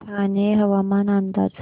ठाणे हवामान अंदाज